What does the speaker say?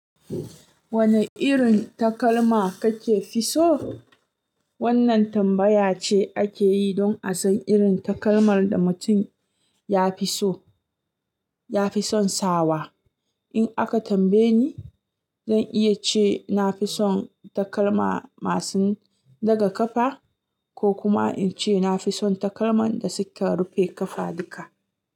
Wane irin takalma kake fi so? Wannan tambaya ce ake yi don a san irin takalmar da mutum ya fi so, ya fi son sawa. In aka tambaye ni, zan iya ce na fi son takalma masu daga kafa, ko kuma in ce na fi son takalman da suka rufe kafa duka.